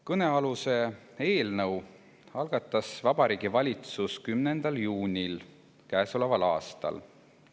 Kõnealuse eelnõu algatas Vabariigi Valitsus 10. juunil käesoleval aastal.